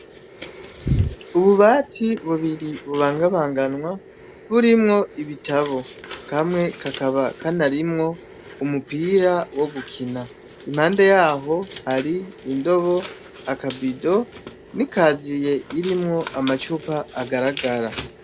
Ubu bati bubiri bubangabanganwa burimmwo ibitabo kamwe kakaba kanarimwo umupira wo gukina impande yaho hari indobo, akabido n'ikaziye irimwo amacupa agaragara.